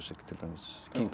til dæmis King Crimson